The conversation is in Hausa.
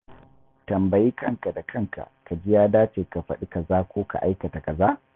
Tambayi kanka da kanka ka ji ya dace ka faɗi kaza ko aikata kaza.